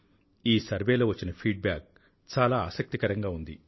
ఈ సర్వేలో వచ్చిన ఫీడ్ బ్యాక్ చాలా ఆసక్తికరంగా ఉంది